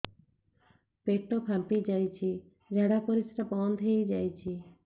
ପେଟ ଫାମ୍ପି ଯାଇଛି ଝାଡ଼ା ପରିସ୍ରା ବନ୍ଦ ହେଇଯାଇଛି